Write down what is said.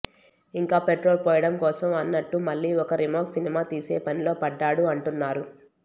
ఇంకా పెట్రోల్ పోయడం కోసం అన్నట్టు మళ్ళీ ఒక రీమేక్ సినిమా తీసే పనిలో పడ్డాడు అంటున్నారు